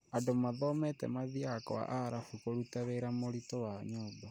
Andũ mathomete mathiaga kwa aarabu kũruta wĩra mũritũ wa nyũmba